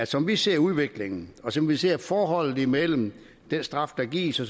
som vi ser udviklingen og som vi ser forholdet mellem den straf der gives og